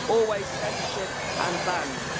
Always censorship and bans.